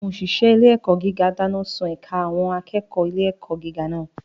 Àwọn òṣìṣẹ́ ilé-ẹ̀kọ́ gíga dáná sun ẹ̀ka àwọn akẹ́kọ̀ọ́ ilé-ẹ̀kọ́ gíga náà.